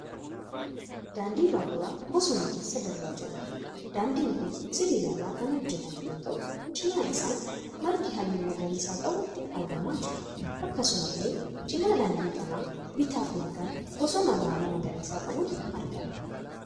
Daandii baaburaa bosona keessa darbaa jiruudha. Daandin kun sibiila irraa kan hojjetame yoo ta'u cina isaa margi halluu magariisa qabu argamaa jira. Akkasumallee cina daandii kanaa bitaaf mirgaan bosona baala magariisa qabutu argama.